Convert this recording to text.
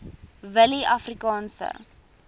willieafrikaanse